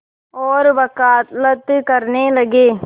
और वक़ालत करने लगे